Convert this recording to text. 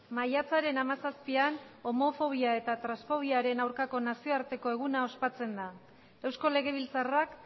maiatzaren hamazazpian homofobia eta transfobiaren aurkako nazioarteko eguna ospatzen da eusko legebiltzarrak